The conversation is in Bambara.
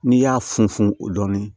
N'i y'a funfun o dɔnni